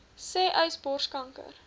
sê uys borskanker